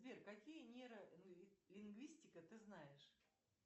сбер какие нейролингвистика ты знаешь